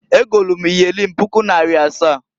Egolu m iyeli m puku naịra asaa.